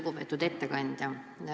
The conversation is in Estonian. Lugupeetud ettekandja!